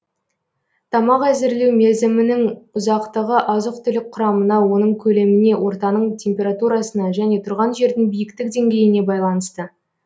тамақ әзірлеу мерзімінің ұзақтығы азық түлік құрамына оның көлеміне ортаның температурасына және тұрған жердің биіктік деңгейіне байланысты